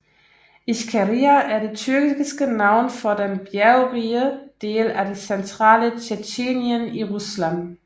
Ichkeria er det tyrkiske navn for den bjergrige del af det centrale Tjetjenien i Rusland